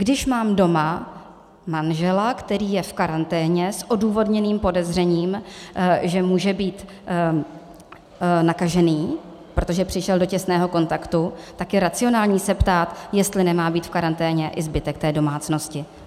Když mám doma manžela, který je v karanténě s odůvodněným podezřením, že může být nakažený, protože přišel do těsného kontaktu, tak je racionální se ptát, jestli nemá být v karanténě i zbytek té domácnosti.